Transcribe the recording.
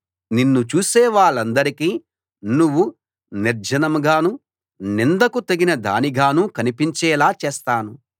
నిన్ను చూసే వాళ్ళందరికీ నువ్వు నిర్జనంగానూ నిందకు తగిన దానిగానూ కనిపించేలా చేస్తాను